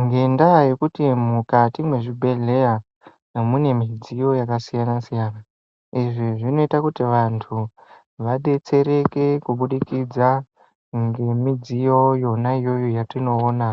Ngenda yekuti mukati me zvibhedhleya mune midziyo yaka siyana siyana izvi zvinoita kuti vantu vadetsereke kubudikidza nge midziyo yona iyoyo yatono ona